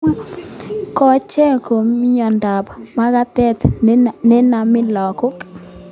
Kochek ko mnyondob magatet nenami lagok